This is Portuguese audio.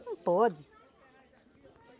Não pode.